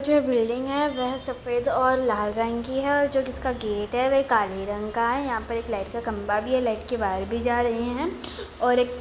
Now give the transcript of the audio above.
जो बिल्डिंग है वों सफ़ेद और लाल रंग की और जो इसका गेट है वो काले रंग का यहा पे एक लाईट का खम्भा भी है लाईट के वायर भी जा रहे है और एक--